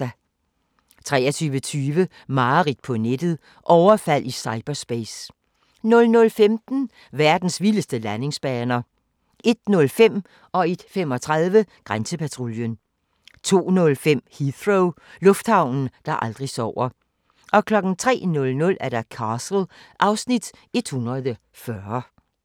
23:20: Mareridt på nettet - overfald i cyberspace 00:15: Verdens vildeste landingsbaner 01:05: Grænsepatruljen 01:35: Grænsepatruljen 02:05: Heathrow - lufthavnen, der aldrig sover 03:00: Castle (Afs. 140)